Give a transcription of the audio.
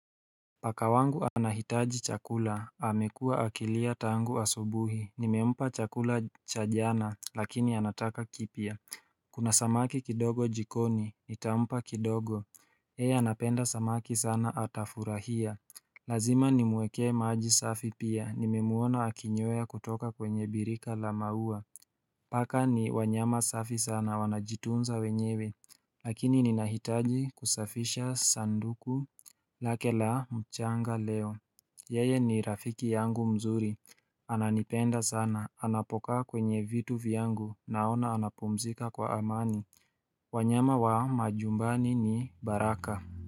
Paka wangu anahitaji chakula, amekua akilia tangu asubuhi, nimempa chakula cha jana lakini anataka kipya Kuna samaki kidogo jikoni, nitampa kidogo, yeye anapenda samaki sana atafurahia Lazima nimwekee maji safi pia, nimemwona akinyweya kutoka kwenye birika la mauwa Paka ni wanyama safi sana wanajitunza wenyewe Lakini ninahitaji kusafisha sanduku lake la mchanga leo Yeye ni rafiki yangu mzuri Ananipenda sana, anapokaa kwenye vitu vyangu, naona anapumzika kwa amani wanyama wa majumbani ni baraka.